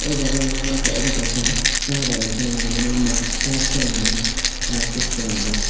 o jaga ang nogmangka obo kaisa cha bagan pono hinuimano ma park pono hinuimano taske selamjak.